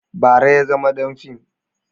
Bara ya zama ɗan fim